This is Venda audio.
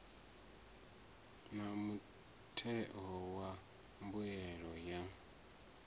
na mutheo wa mbuelo ya